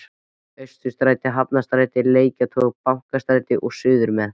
Austurstræti, Hafnarstræti, Lækjartorg, Bankastræti og suðurmeð